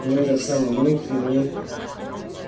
и в этот самый миг на ней